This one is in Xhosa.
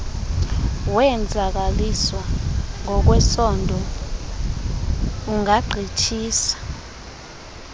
wenzakaliswa ngokwesondo ungagqithisa